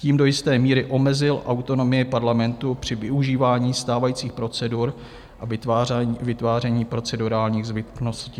Tím do jisté míry omezil autonomii parlamentu při využívání stávajících procedur a vytváření procedurálních zbytností.